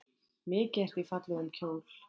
Mikið ertu í fallegum kjól.